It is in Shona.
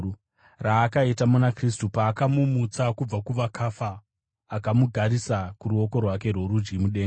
raakaita muna Kristu paakamumutsa kubva kuvakafa akamugarisa kuruoko rwake rworudyi mudenga,